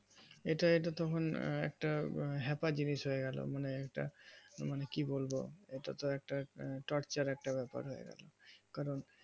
এটা তো তখন একটা হ্যাপা জিনিস হয়ে গেলো মানে এটা মানে কি বলবো এটাতো একটা টর্চার একটা ব্যাপার হয়ে গেলো কারণ